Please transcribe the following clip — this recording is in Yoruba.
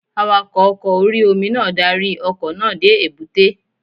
Awakọ̀ oko orí-omi náà darí ọkọ̀ náà dé èbúté